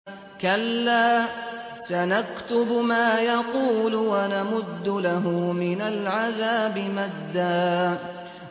كَلَّا ۚ سَنَكْتُبُ مَا يَقُولُ وَنَمُدُّ لَهُ مِنَ الْعَذَابِ مَدًّا